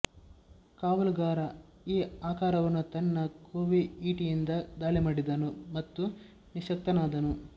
ಕಾವಲುಗಾರ ಈ ಆಕಾರವನ್ನು ತನ್ನ ಕೋವಿ ಈಟಿಯಿಂದ ದಾಳಿಮಾಡಿದನು ಮತ್ತು ನಿಶ್ಶಕ್ತನಾದನು